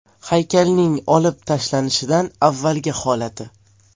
Haykalning olib tashlanishidan avvalgi holati.